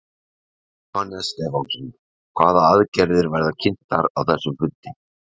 Jóhannes Stefánsson: Hvaða aðgerðir verða kynntar á þessum fundi?